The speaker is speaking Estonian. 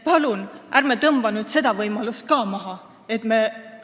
Palun, ärme tõmbame nüüd seda võimalust ka maha!